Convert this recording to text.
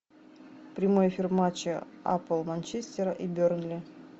прямой эфир матча апл манчестера и бернли